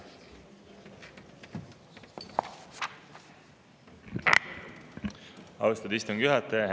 Austatud istungi juhataja!